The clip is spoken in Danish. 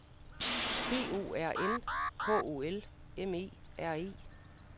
B O R N H O L M E R E